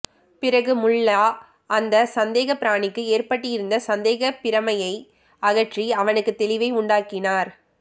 பிறகு முல்லா அந்தச் சந்தேகப் பிராணிக்கு ஏற்பட்டிருந்த சந்தேகப் பிரமையை அகற்றி அவனுக்குத் தெளிவை உண்டாக்கினார்